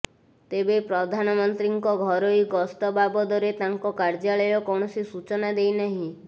ତେବେ ପ୍ରଧାନମନ୍ତ୍ରୀଙ୍କ ଘରୋଇ ଗସ୍ତ ବାବଦରେ ତାଙ୍କ କାର୍ଯ୍ୟାଳୟ କୌଣସି ସୂଚନା ଦେଇ ନାହିଁ